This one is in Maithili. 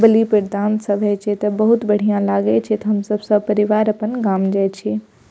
सब हय छे त बहुत बढ़ियां लागे छे तो हम सब सब परिवार आपन गाम जाये छे।